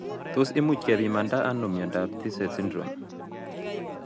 Tos imuchi kepimanda ano miondop Tietze syndrome